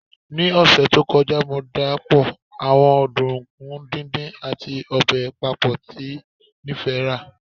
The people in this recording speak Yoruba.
Ni ọsẹ to kọja, Mo dapọ awọn ọdunkun didin ati obe papọ ati nifẹ rẹ